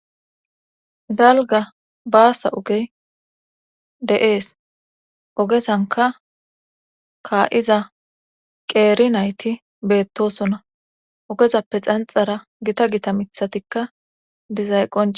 Dalga baasa ogey de7ees ogesanka kaa7iza qeeri nayti beettosona ogezappe xanxara gita gita mithatikka dizayqqonc.